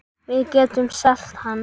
Við getum selt hann.